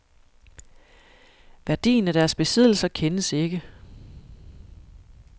Værdien af deres besiddelser kendes ikke.